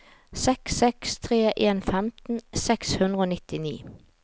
seks seks tre en femten seks hundre og nittini